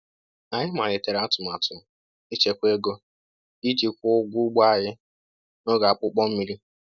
Anyị malitere atụmatụ ịchekwa ego iji kwụọ ụgwọ ugbo anyị n’oge akpụkpọ mmir